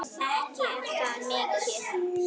Ekki er það mikið!